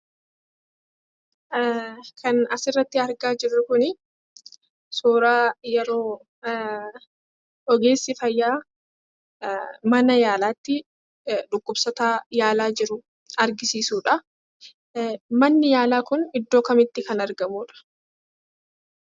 Kan asirratti argaa jirru kunii suuraa yeroo ogeessi fayyaa mana yaalaatti dhukkubsataa yaalaa jiru argisiisuudhaa. Manni yaalaa kun iddoo kamitti kan argamuudha?